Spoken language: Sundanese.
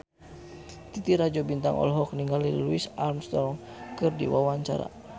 Titi Rajo Bintang olohok ningali Louis Armstrong keur diwawancara